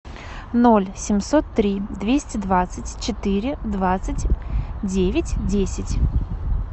ноль семьсот три двести двадцать четыре двадцать девять десять